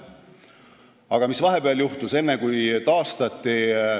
Aga mis vahepeal juhtus?